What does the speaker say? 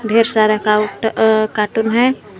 ढेर सारा का अह कार्टून है।